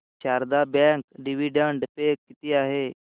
Sharda bank dividend pay किती आहे